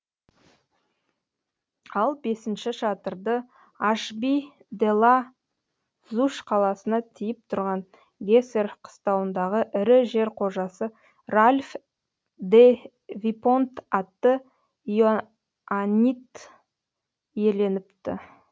ал бесінші шатырды ашби де ла зуш қаласына тиіп тұрған гэсер қыстауындағы ірі жер қожасы ральф де випонт атты иоаннит иеленіпті